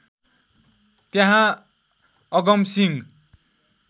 त्यहाँ अगमसिंह